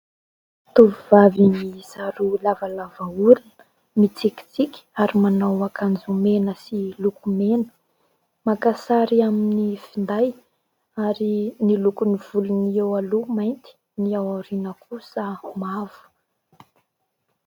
Tovovavy miisa roa lavalava orona , mitsikitsiky , ary manao ankanjo mena sy lokomena ; maka sary amin'ny finday ary ny lokon'ny volony eo aloha mainty , ny aoriana kosa mavo.